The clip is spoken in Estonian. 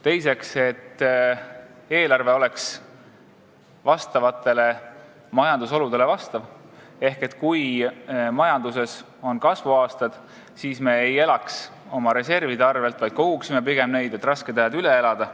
Teiseks, eelarve peaks vastama majandusoludele: kui majanduses on kasvuaastad, siis me ei tohi elada reservide arvel, vaid pigem peame neid koguma, et rasked ajad üle elada.